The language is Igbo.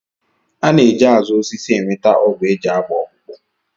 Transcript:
A na-eji azụ osisi enweta ọgwụ e ji agba ọkpụkpụ